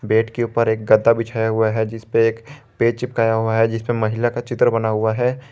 Bed के ऊपर एक गद्दा बिछाया हुआ है जिसपे एक पेज चिपकाया हुआ है जिसपे महिला का चित्र बना हुआ है।